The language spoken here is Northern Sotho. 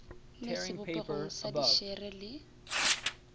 le sebopegong sa dišere le